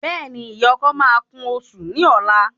Béèni ìyá ọkọ máa kún osùn ní ọlá